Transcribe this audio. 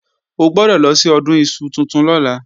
O gbọ́dọ̀ lọ sí Ọdún iṣu tuntun lọ́la